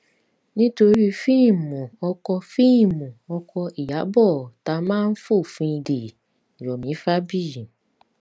nítorí fíìmù ọkọ fíìmù ọkọ ìyàbọ ta má ń fòfin dè yọ̀mí fabiyi